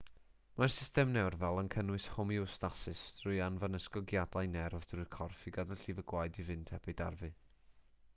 mae'r system nerfol yn cynnal homeostasis trwy anfon ysgogiadau nerf trwy'r corff i gadw llif y gwaed i fynd heb ei darfu